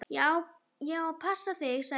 Ég á að passa þig, sagði